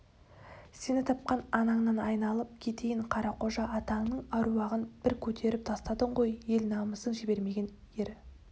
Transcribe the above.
сені тапқан анаңнан айналып кетейін қарақожа атаңның аруағын бір көтеріп тастадың ғой ел намысын жібермеген ер